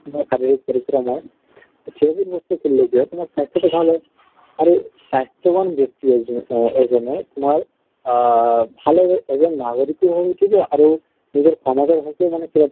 বা তোমাৰ শাৰীৰিক পৰিশ্ৰম হয়, সেইবোৰ বস্তু খেলিলে কি হয় তোমাৰ স্বাস্থ্য় টো ভাল হয়। আৰু স্বাস্থ্য়ৱান ব্য়ক্তি এজ এজনে ভাল আহ ভাল এজন নাগৰিকো হৈ উঠিব আৰু নিজৰ সমাজৰ হকে মানে